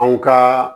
Anw ka